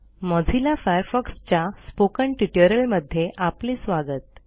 Mozilla Firefoxच्या spoken ट्युटोरियलमध्ये आपले स्वागत